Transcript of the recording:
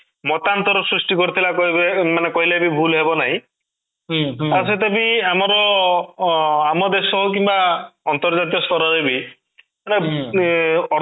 ମତାନ୍ତର ସୃଷ୍ଟି କରିଥିଲା ମାନେ କହିଲେ ବି ଭୁଲ ହେବ ନାହିଁ ତା ସହିତ ବି ଆମର ଅଂ ଆମ ଦେଶ କିମ୍ବା ଅନ୍ତର୍ଜାତୀୟ ସ୍ତର ରେ ବି ଉଁ